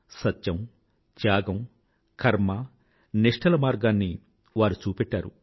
సత్యం త్యాగం కర్మ నిష్ఠల మార్గాన్ని వారు చూపెట్టారు